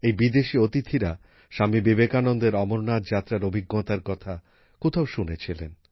এই বিদেশী অতিথিরা স্বামী বিবেকানন্দের অমরনাথ যাত্রার অভিজ্ঞতার কথা কোথাও শুনেছিলেন